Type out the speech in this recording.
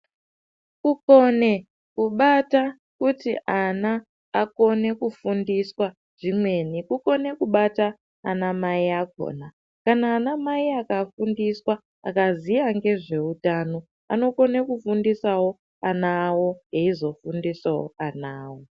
Kukone kubata kuti ana akone kufundiswa zvimweni kukona kubata ana mai akona kana ana mai akafundiswa akaziva nezvehutano vanokona kufundiswawo ana awo eizofundisawo ana awo.